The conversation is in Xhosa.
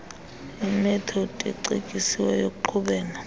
imethodi ecetyisiweyo yokuqhubela